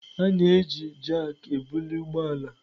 A na-eji jakị ebuli ụgbọ ala.